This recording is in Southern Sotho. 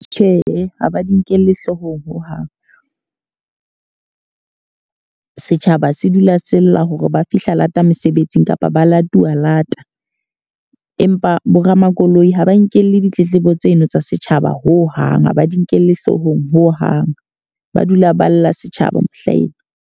Tjhe, ha ba di nkelle hloohong ho hang. setjhaba se dula se lla hore ba fihla lata mesebetsing kapa ba latuwa lata. Empa bo ramakoloi ha ba nkelle ditletlebo tseno tsa setjhaba ho hang. Ha ba di nkelle hloohong ho hang. Ba dula ba lla setjhaba mehlaena.